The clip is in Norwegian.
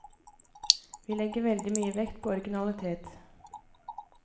Vi legger veldig mye vekt på originalitet.